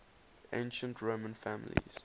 ancient roman families